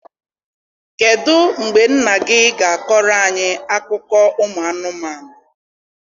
kedụ mgbe nna gị ga akọro anyị akụkọ ụmụ anụmanụ